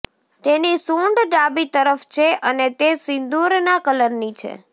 તેની સૂંઢ ડાબી તરફ છે અને તે સિંદૂરના કલરની છે